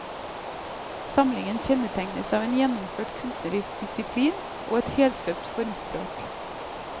Samlingen kjennetegnes av en gjennomført kunstnerisk disiplin og et helstøpt formspråk.